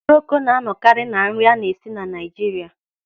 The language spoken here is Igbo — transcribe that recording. Okporoko na-anọkarị na nri a na-esi na Naịjiria.